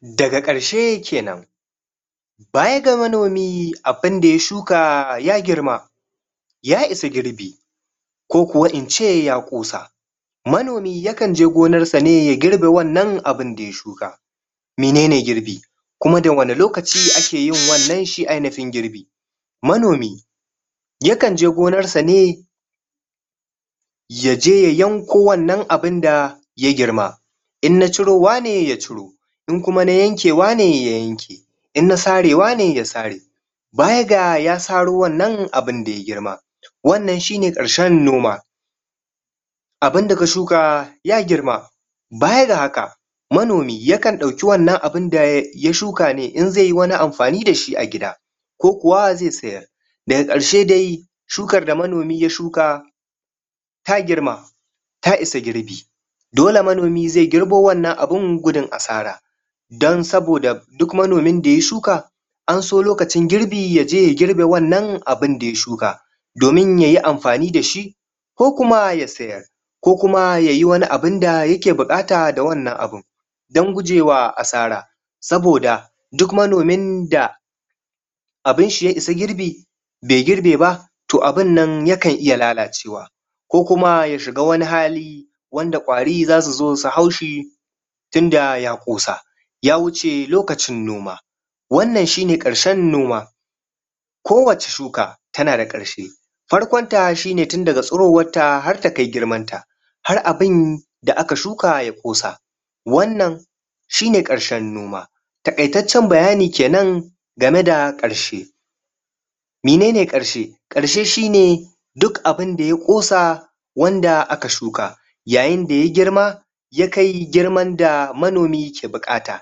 da ga karshe kenan baya ga manomi abunda ya shuka ya girma ya isagirbi ko kuwa in ce ya kosa manomi yakan je gonar sa ne ya girbi wannan abin da ya shuka menene girbi kuma da wane lokaci ake yin wannan shi ainihin girbi manomi yakan je gonar sa ne ya je ya yanko wannan abin da ya girma in na cirowa ne ya ciro in kuma na yankewa ne ya yanke in na sarewa ne ya sare baya ga ya saro wannan abin da yagirma wannan shi ne karshen noma abin da ka shuka ya girma baya ga hake manomi yakan dauki wannan abin da ya ya shuka ne in zai yi wani amfani da shi a gida ko kuwa zai sayar da ga karshe dai shukar da manomi ya shuka ta girma ta isa girbi dole manomi zai girbo wannan abin gudun asara dan soboda duk manomin da ya shuka an so lokacin girbi ya je ya girbe wannan abin da ya shuka domin ya yi amfani da shi ko kuma ya sayar ko kuma ya yi wani abun da ya ke bukata da wannan abun dan gujewa asra saboda duk manomin da abin shi ya isa girbi be girbe ba toh abun nan ya kan iya lalacewa ko kuma ya shiga wani hali wanda kwari za su zo su hau shi tin da ya kosa ya wuce lokacin noma wannanshine karshen noma ko wace shuka ta na da karshe farkon ta shi ne tin daga tsirowan ta har ta kai girman ta har abin da aka shuka ya kosa wannan shi ne karshen noma takaitacen bayani kenan ga me da karshe menene karshe karshe shi ne duk abinda ya kosa wanda aka shuka yayin da ya girma ya kai ya kaigirman da manomi ke bukata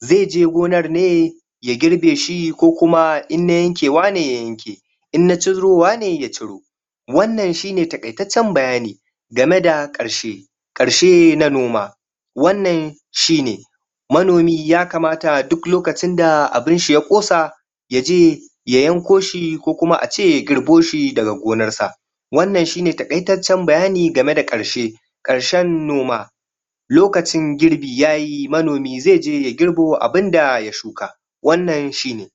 zai je gonar ne ya girbe shi ko kuma in na yankewa ne wa yanke in na cirowa ne ya ciro wannan shi ne takaitacen bayani ga me da karshe karshe na noma wannan shi ne manomi ya kamata duk lokacin abin shi ya kosa ya je ya yanko shi ko kuma ya girbo shi daga gonar sa wannan shi ne takaitacen bayani ga me da karshe karshen noma lokacin girbi ya yi manomi zai je ya girbo abin da ya shuka wannan shi ne